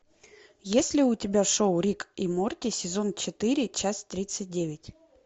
есть ли у тебя шоу рик и морти сезон четыре часть тридцать девять